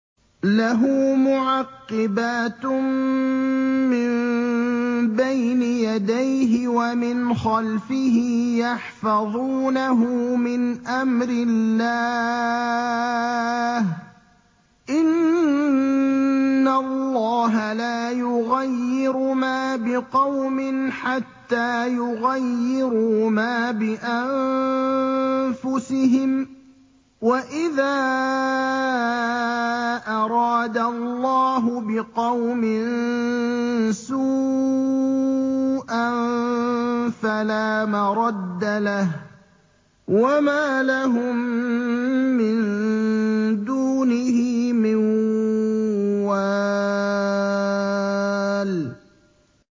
لَهُ مُعَقِّبَاتٌ مِّن بَيْنِ يَدَيْهِ وَمِنْ خَلْفِهِ يَحْفَظُونَهُ مِنْ أَمْرِ اللَّهِ ۗ إِنَّ اللَّهَ لَا يُغَيِّرُ مَا بِقَوْمٍ حَتَّىٰ يُغَيِّرُوا مَا بِأَنفُسِهِمْ ۗ وَإِذَا أَرَادَ اللَّهُ بِقَوْمٍ سُوءًا فَلَا مَرَدَّ لَهُ ۚ وَمَا لَهُم مِّن دُونِهِ مِن وَالٍ